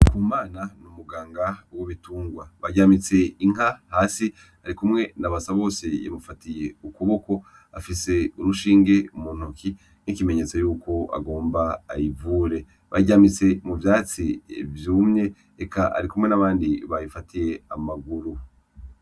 Ndikumana n’umuganga w’ ibitungwa. Baryamitse inka hasi arikumwe na Basabose yamufatiye ukuboko afise urushinge mu ntoke nk’ikimenyetso yuko agomba ayivure . Ayiryamitse mu vyatsi vyumye eka arikumwe n’abandi bayifatiye amaguru.